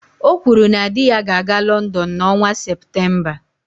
O kwuru na di ya ga-aga London n'ọnwa Septemba